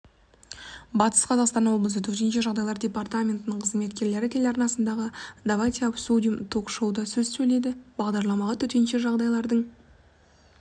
батыс қазақстан облысы төтенше жағдайлар департаментінің қызметкерлері телеарнасындағы давайте обсудим ток-шоуда сөз сөйледі бағдарламаға төтенше жағдайлардың